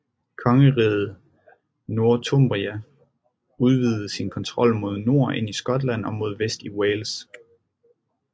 Kongeriget Northumbria udvidede sin kontrol mod nord ind i Skotland og mod vest ind i Wales